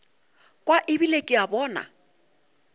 kwa ebile ke a bona